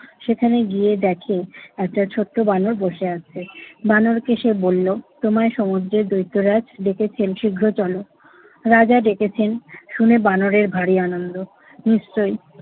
সেখানে গিয়ে দেখে একটা ছোট্ট বানর বসে আছে। বানরকে সে বলল, তোমায় সমুদ্রের দৈত্যরাজ ডেকেছেন, শীঘ্রই চলো। রাজা ডেকেছেন শুনে বানরের বাড়ি আনন্দ। নিশ্চয়ই